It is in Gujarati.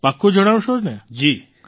પાકું જણાવશો ને